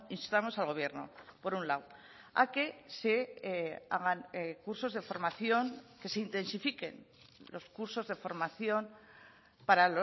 instamos al gobierno por un lado a que se hagan cursos de formación que se intensifiquen los cursos de formación para